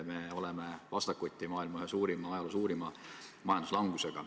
Me seisame silmitsi maailma ajaloo suurima majanduslangusega.